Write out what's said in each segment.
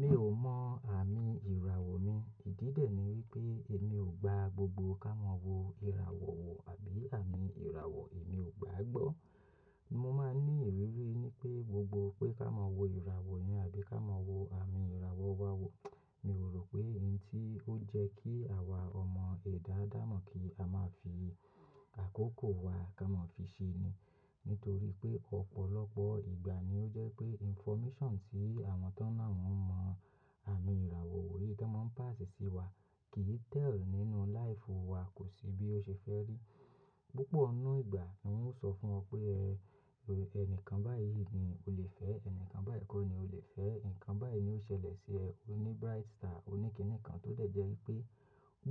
Mi ò mọ àmì ìràwọ̀ mi. Ìdí dè ni wípé èmi ò gba gbogbo ká mọ̀ wo ìràwọ̀ wo àbí àmì ìràwọ̀ èmi ò gbàá gbọ́. Mo máa ń ní ìrírí ní pé gbogbo pé ká mọ̀ wo ìràwọ̀ yẹn àbí ká mọ̀ wo àmì ìràwọ̀ wa wò, mi ò rò pé ohun tí ó jẹ́ kí àwa ọmọ ẹ̀dá adamo kí a máa fi àkókò wa ká mọ́ fi ṣe ni. Nítorí pé ọ̀pọ̀lọpọ̀ ìgbà ni ó jẹ́ pé information tí àwọn tán náà ń mọ àmì ìràwọ̀ wò yí ká mọ́ ń pàṣs sí wa kìí tẹ̀lù nínú life wa kò sí bí ó ṣe fẹ́ rí. Púpọ̀ nu ìgbà ni wọ́n ó sọ fún ọ pé ẹ, ẹnìkan báyìí ni o lè fẹ́, ẹnìkan báyìí kọ́ ni o lè fẹ́, ǹkan báyìí ni ó ṣẹlẹ̀ sí ẹ, o ní bright star oní kìnì kan tó dẹ̀ jẹ́ wípé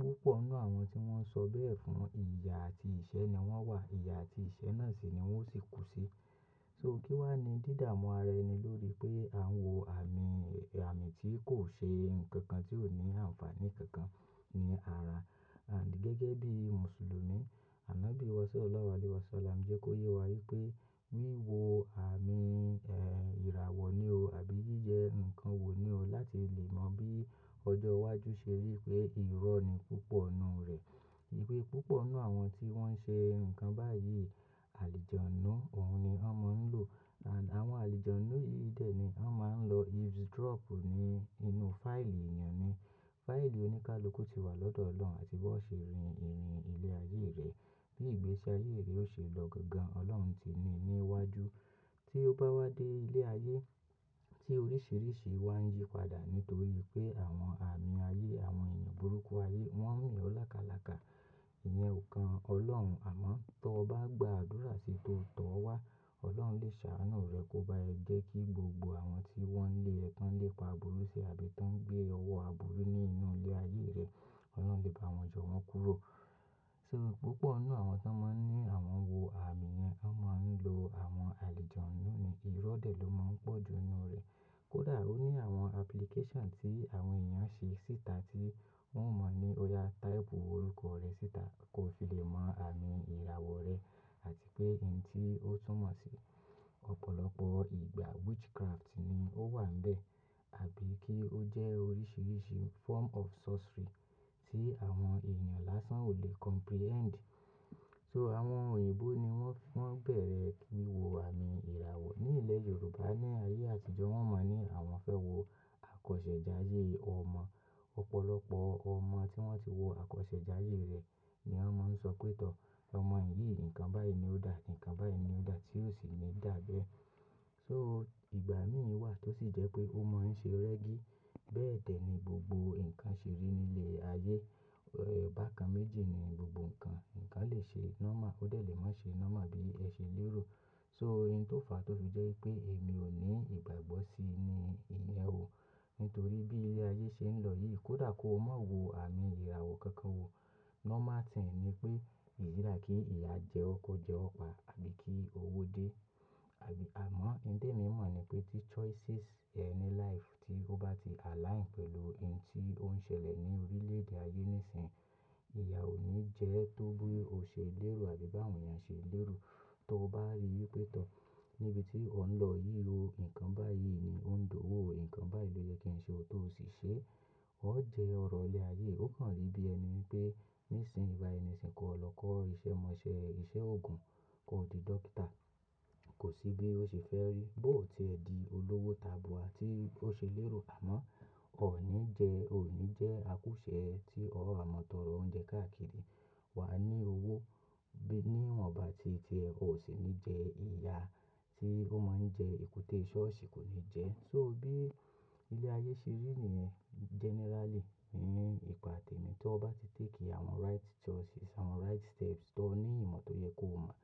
púpọ̀ nu àwọn tí wọ́n ń sọ bẹ́ẹ̀ fún, ìyà àti ìṣẹ́ ni wọ́n wà. Ìyà àti ìṣẹ́ náà sì ni wọ́n sì kú sí. So kí wá ni dídáàmú ara ẹni lórí pé à ń wo àmì, àmì tí kò ṣe nǹkan kan tí ò ní àǹfààní kankan ní ara. And gẹ́gẹ́ bí Mùsùlùmí, ànábí ìwọsọ Ọlọ́run alẹ́wasọla ń jẹ́ kó yé wa wípé wíwo àmì, eh, ìràwọ̀ ni o àbí yíyẹ ǹkan wò ni o láti lè mọ bí ọjọ́ iwájú ṣe rí pé irọ́ ni púpọ̀ nu rẹ̀. Wípé púpọ̀ nu àwọn tí wọ́n ń ṣe ǹkan báyìí, àlejò ńnú òun ni wọ́n máa ń lò. And àwọn àlejò ńnú yìí dè ni wọ́n máa ń lọ eavesdrop ní inú fáìlì èèyàn ni. Fáìlì oníkálukú ti wà lọ́dọ̀ Ọlọ́run àti bó ṣe rìn ìrìn ilé ayé rẹ̀, bí ìgbésí ayé rẹ̀ ó ṣe lọ gangan, Ọlọ́run ti ní i níwájú. Tí ó bá wá dé ilé ayé tí oríṣìíríṣìí wá ń yí padà nítorí pé àwọn àmì ayé, àwọn èèyàn burúkú ayé wọ́n ń mi ọ lákalàka. Ìyẹn ò kan Ọlọ́run, àmọ́ tó bá gba àdúrà sí to tọ́ ọ wá, Ọlọ́run lè ṣàánú rẹ kó bá ẹ jẹ́ kí gbogbo àwọn tí wọ́n ń lé ẹ tán lépa burú sí àbí tó ń gbé ọwọ́ aburú ní inú ilé ayé rẹ, Ọlọ́run lè bá wọn yọ wọ́n kúrò. So púpọ̀ nu àwọn tó máa ń ní àwọn wo àmì yẹn, wọ́n máa ń lo àwọn àlejò ńnú ni. Irọ́ dẹ̀ ló máa ń pọ̀ ju inú rẹ̀. Kódà ó ní àwọn application tí àwọn èèyàn ṣe síta tí wọ́n mọ̀ ní ó ya táìpù orúkọ rẹ síta kó fi lè mọ àmì ìràwọ̀ rẹ àti pé ohun tí ó túmọ̀ sí. Ọ̀pọ̀lọpọ̀ ìgbà witchcraft ni ó wà ń bẹ́ẹ̀ àbí kí ó jẹ́ oríṣìíríṣìí form of sorcery tí àwọn èèyàn lásán ò lè comprehend. So àwọn òyìnbó ni wọ́n, wọ́n bẹ̀rẹ̀ kí wọ àmì ìràwọ̀. Ní ilẹ̀ Yorùbá ní ayé àtijọ́, wọ́n mọ̀ ní àwọn fẹ́ wo àkọsẹ̀jayé ọmọ. Ọ̀pọ̀lọpọ̀ ọmọ tí wọ́n ti wo àkọsẹ̀jayé rẹ̀ ni wọ́n máa ń sọ pé tọ́, ọmọ yìí ǹkan báyìí ni ó dà, ǹkan báyìí ni ó dà tí ó sì ní dà bẹ́ẹ̀. So ìgbà mí wà tó sì jẹ́ pé ó mọ ń ṣe reggi. Bẹ́ẹ̀ dẹ̀ ni gbogbo ǹkan ṣe rí nílé ayé. Eh, bákan méjì ni gbogbo ǹkan. Ǹkan lè ṣe normal, ó dẹ̀ lè má ṣe normal bí ẹ ṣe lérò. So ihn tó fàá tó fi jẹ́ wípé èmi ò ní ìgbàgbọ́ sí ni ìyẹn ò. Nítorí bí ilé ayé ṣe ń lọ yìí, kódà kó má wo àmì ìràwọ̀ kankan wò, normal thing ni pé ìs'ida kí ìyà jẹ ó kó jẹ ọ̀pá àbí kí owó dé. Àbí àmọ́ ǹ tẹ́mi mọ̀ ni pé tí choices ẹ ní life tí ó bá ti align pẹ̀lú ohun tí ó ń ṣẹlẹ̀ ní orílẹ̀-èdè ayé nísìnyí, ìyà ò ní jẹ ẹ tó bí o ṣe lérò àbí bá àwọn èèyàn ṣe lérò. Tó bá rí wípé tọ́, níbi tí ọ ń lọ yìí, o ǹkan báyìí ni ó ń dowo o, ǹkan báyìí ló yẹ kí ń ṣe ó tó sì ṣe é. Ó jẹ ọ̀rọ̀ ilé ayé, ó kànrí bí ẹni pé nísìnyí ba ẹ nísìnyí kó lọ kọ́ iṣẹ́ mọ̀ọ́ṣẹ́, iṣẹ́ òògùn, kó di dókítà. Kò sí bí ó ṣe fẹ́ rí. Bó ti ẹ di olówó tabua tí ó ṣe lérò àmọ́ o ò ní jẹ, o ò ní jẹ àkúṣẹ́ ẹ tí ó há mọ́ tọ̀'ọrọ̀ oúnjẹ káàkiri. Wa ní owó bí níwọ̀n bá ti ṣe ẹ, o sì ní jẹ ìyà tí ó mọ ń jẹ èkúté ṣọ́ọ̀ṣì kò ní jẹ ẹ́. So bí ilé ayé ṣe rí ní ẹ generally ní ìpà tèmi, tó bá ti take àwọn right choices, àwọn right steps tó ní ìmọ̀ tó yẹ kó mọ̀,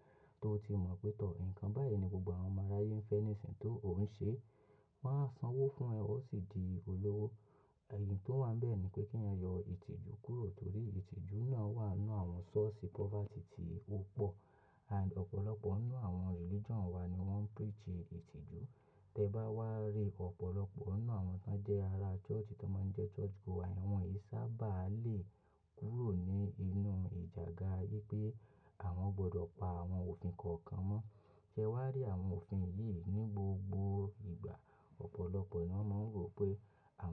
tó ti mọ̀ pé tọ́, ǹkan báyìí ni gbogbo àwọn ọmọ aráyé ń fẹ́ nísìnyí tó ò ń ṣe, wọ́n á sanwó fún ẹ, o sì di olówó. Ẹ̀yìn tó wà ń bẹ́ẹ̀ ni pé kí ẹ yọ ìtìjú kúrò torí ìtìjú náà wà nínú àwọn source poverty tí ó pọ̀. And ọ̀pọ̀lọpọ̀ nínú àwọn religion wa ni wọ́n preach ìtìjú. Tẹ bá wá rí ọ̀pọ̀lọpọ̀ nínú àwọn tó jẹ́ ara church tó máa ń jẹ́ church goer, wọn yìí sábà lè kúrò ní inú ìjàǹgà yí pé àwọn gbọdọ̀ pa àwọn òfin kọ̀ọ̀kan mọ́. Ṣé wá rí àwọn òfin yìí ní gbogbo ìgbà? Ọ̀pọ̀lọpọ̀ inú wọn máa ń rò pé àwọn.